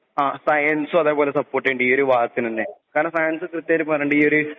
ഇപ്പൊ സയൻസും സപ്പോർട് ചെയ്യാനുണ്ട് ഈയൊരു വാക്കിനെന്നെ. കാരണം സയൻസിൽ കൃത്യായിട്ട് പറയനുണ്ട്